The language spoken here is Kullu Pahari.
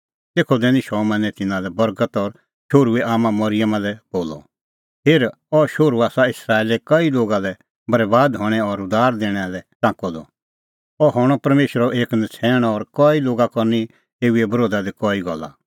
तेखअ दैनी शमौनै तिन्नां लै बर्गत और शोहरूए आम्मां मरिअमा लै बोलअ हेर अह शोहरू आसा इस्राएले कई लोगा लै बरैबाद हणैं और उद्धार दैणा लै टांकअ द अह हणअ परमेशरो एक नछ़ैण और कई लोगा करनी एऊए बरोधा दी कई गल्ला